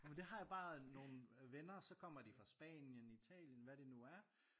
Ej men det har jeg bare nogen øh venner og så kommer de fra Spanien Italien hvad det nu er